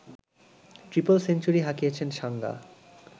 triple century হাঁকিয়েছেন সাঙ্গা